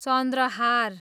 चन्द्रहार